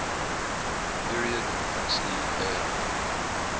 period huxley earned